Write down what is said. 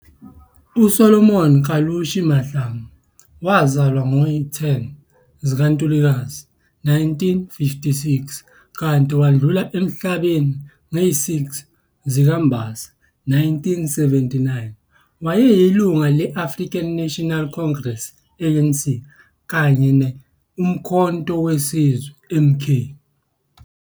uSolomon Kalushi Mahlangu, 10 ngoNtulikazi 1956 - 6 ngoMbasa 1979, wayeyilunga le-African National Congress, ANC, kanye noUmkhonto weSizwe, MK.